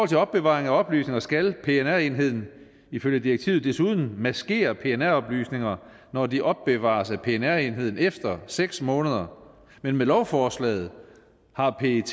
til opbevaring af oplysninger skal pnr enheden ifølge direktivet desuden maskere pnr oplysninger når de opbevares af pnr enheden efter seks måneder men med lovforslaget har pet